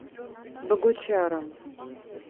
богучаром